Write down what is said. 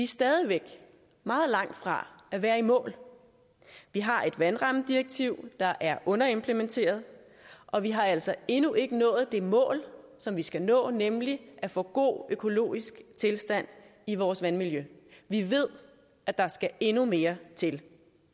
stadig væk meget langt fra at være i mål vi har et vandrammedirektiv der er underimplementeret og vi har altså endnu ikke nået det mål som vi skal nå nemlig at få en god økologisk tilstand i vores vandmiljø vi ved at der skal endnu mere til